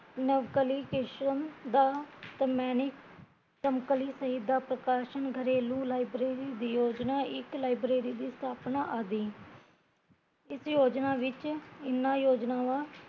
ਨਵਕਲੀ ਕਿਸ਼ਨ ਦਾ ਸਮਕਲੀ ਸਾਹਿਤ ਦਾ ਪ੍ਰਕਾਸ਼ਨ ਗਰੇਲੂ library ਦੀ ਯੋਜਨਾ ਇੱਕ library ਦੀ ਸਥਾਪਨਾ ਆਦਿ, ਇਸ ਯੋਜਨਾ ਵਿੱਚ ਇਹਨਾਂ ਯੋਜਨਾਵਾਂ